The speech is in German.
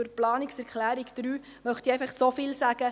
Zu Planungserklärung 3 möchte ich nur so viel sagen: